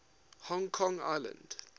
hong kong island